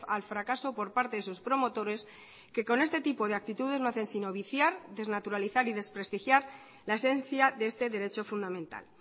al fracaso por parte de sus promotores que con este tipo de actitudes no hacen sino viciar desnaturalizar y desprestigiar la esencia de este derecho fundamental